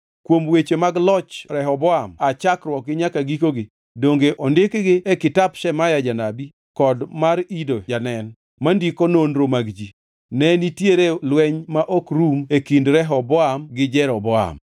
Kuom weche mag loch Rehoboam aa chakruokgi nyaka gikogi, donge ondikgi e kitap Shemaya janabi kod mar Ido janen mandiko nonro mag ji? Ne nitiere lweny ma ok rum e kind Rehoboam gi Jeroboam.